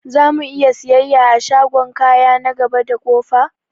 Zamu'iya siyayya a shagon kaya na gaba da ƙofa?